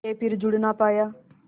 के फिर जुड़ ना पाया